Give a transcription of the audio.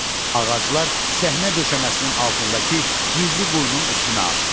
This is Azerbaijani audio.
Ağaclar səhnə döşəməsinin altındakı gizli quyunun üstünə aşdılar.